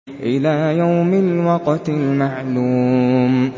إِلَىٰ يَوْمِ الْوَقْتِ الْمَعْلُومِ